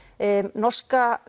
norska